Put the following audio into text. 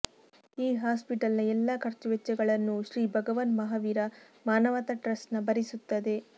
ಈ ಹಾಸ್ಪಿಟಲ್ ನ ಎಲ್ಲ ಖರ್ಚು ವೆಚ್ಚಗಳನ್ನೂ ಶ್ರೀ ಭಗವಾನ್ ಮಹಾವೀರ್ ಮಾನವತಾ ಟ್ರಸ್ಟ್ನ ಭರಿಸುತ್ತದೆ